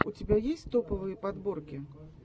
у тебя есть топовые подборки